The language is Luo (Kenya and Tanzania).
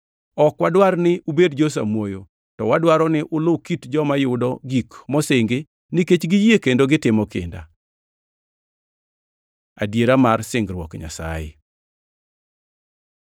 Ok wadwar ni ubed jo-samuoyo to wadwaro ni ulu kit joma yudo gik mosingi nikech giyie kendo gitimo kinda. Adiera mar singruok Nyasaye